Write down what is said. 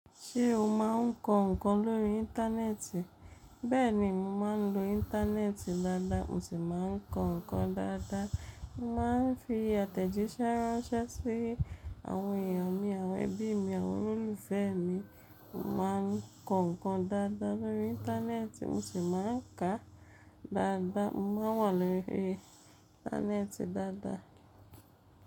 Ṣé o máa ń kọ ǹkan lórí Íńtánẹ́ẹ̀tì? Bẹ́ẹ̀ni, mo máa ń lo Íńtánẹ́ẹ̀tì dáadáa, mo sì máa ń kọ ǹkan dáadáa. Mo máa ń fi àtẹ̀jíṣẹ́ ránṣẹ́ sí àwọn èyàn mi, àwọn ẹbí mi, àwọn olólùfẹ́ mi. Mo máa ń kọ ǹkan dáadáa lórí Íńtánẹ́ẹ̀tì mo sì máa ń kà á dáadáa. Mo máa n wà lórí Íńtánẹ́ẹ̀tì dáadáa.